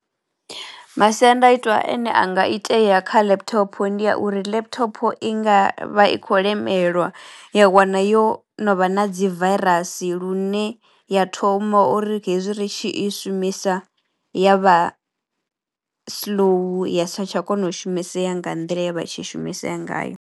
Masiandaitwa ane anga itea kha laptop ndi ya uri laptop i nga vha i khou lemelwa ya wana yo no vha na dzi vairasi lune ya thoma uri hezwi ri tshi i shumisa ya vha slow ya sa tsha tsha kona u shumisea nga nḓila ye ya vha i tshi shumisea ngayo.